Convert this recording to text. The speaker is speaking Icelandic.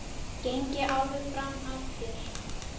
Geng ég alveg fram af þér?